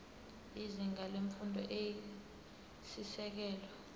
izinga lemfundo eyisisekelo